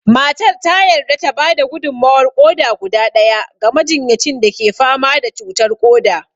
Matar ta yarda ta ba da gudummawar ƙoda guda ɗaya ga majinyacin da ke fama da cutar ƙoda